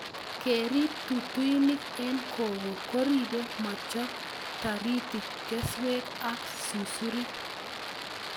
Kerip tutuinik eng koko koripe mochop taritik keswet ak susurik